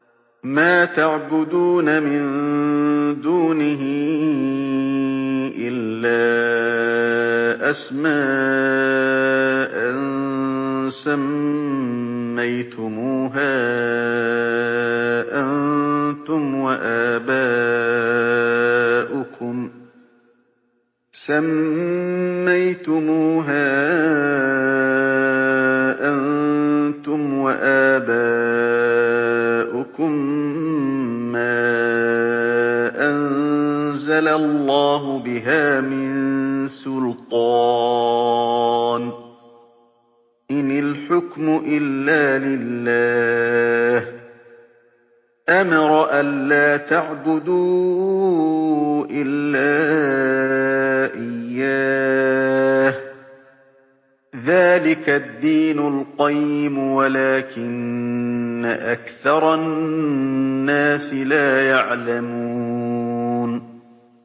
مَا تَعْبُدُونَ مِن دُونِهِ إِلَّا أَسْمَاءً سَمَّيْتُمُوهَا أَنتُمْ وَآبَاؤُكُم مَّا أَنزَلَ اللَّهُ بِهَا مِن سُلْطَانٍ ۚ إِنِ الْحُكْمُ إِلَّا لِلَّهِ ۚ أَمَرَ أَلَّا تَعْبُدُوا إِلَّا إِيَّاهُ ۚ ذَٰلِكَ الدِّينُ الْقَيِّمُ وَلَٰكِنَّ أَكْثَرَ النَّاسِ لَا يَعْلَمُونَ